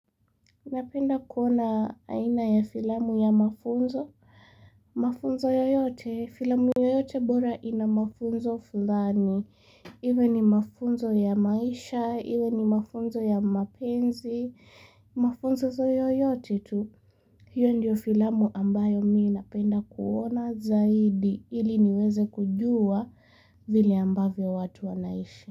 Ninapenda kuona aina ya filamu ya mafunzo, mafunzo yoyote, filamu yoyote bora ina mafunzo fulani, iwe ni mafunzo ya maisha, iwe ni mafunzo ya mapenzi, mafunzo yoyote tu, hiyo ndiyo filamu ambayo mi inapenda kuona zaidi, ili niweze kujua vile ambavyo watu wanaishi.